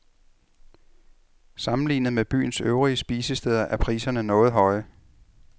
Sammenlignet med byens øvrige spisesteder, er priserne noget høje.